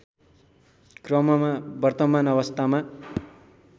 क्रममा वर्तमान अवस्थामा